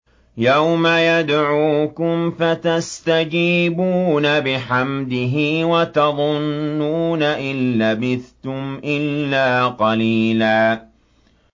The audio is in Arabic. يَوْمَ يَدْعُوكُمْ فَتَسْتَجِيبُونَ بِحَمْدِهِ وَتَظُنُّونَ إِن لَّبِثْتُمْ إِلَّا قَلِيلًا